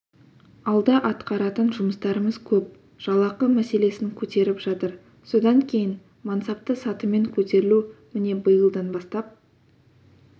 алда атқаратын жұмыстарымыз көп жалақы мәселесін көтеріп жатыр содан кейін мансапты сатымен көтерілу міне биылдан бастап